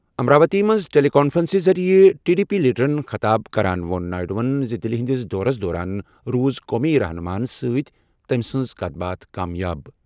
امراوتی منٛز ٹیلی کانفرنسہٕ ذٔریعہٕ ٹی ڈی پی لیڈرَن خطاب کران نائیڈوَن ووٚن زِ دِلہِ ہِنٛدِس دورَس دوران روٗز قومی رہنُماہن سۭتۍ تٔمۍ سٕنٛز کَتھ باتھ کامیاب۔